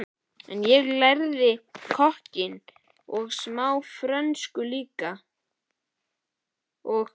En ég lærði kokkinn og smá frönsku líka og